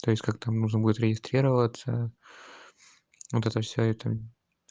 то есть как там нужно будет регистрироваться вот это все это